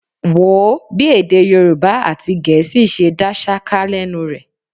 Wò ó bí èdè Yorùbá àti Gẹ̀ẹ́sì ṣe dá ṣáká lẹ́nu rẹ̀.